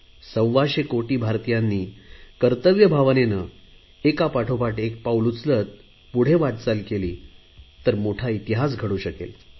सव्वाशे कोटी भारतीयांनी कर्तव्य भावनेने एका पाठोपाठ एक पाऊल उचलत पुढे वाटचाल केली तर मोठा इतिहास घडू शकेल